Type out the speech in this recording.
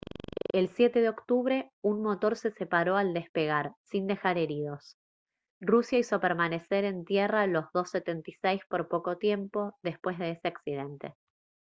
el 7 de octubre un motor se separó al despegar sin dejar heridos rusia hizo permanecer en tierra los il-76 por poco tiempo después de ese accidente